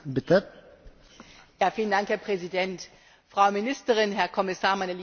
Herr Präsident, Frau Ministerin, Herr Kommissar, meine lieben Kolleginnen und Kollegen!